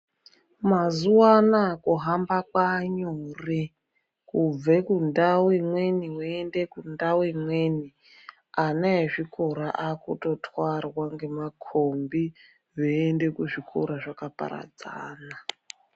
Mazuva anaa kuhamba kwaanyore kubve kundau imweni weiende kundau imweni. Ana ezvikora vaakutwarwa ngemakombi veiende kuzvikora zvakaparadzana.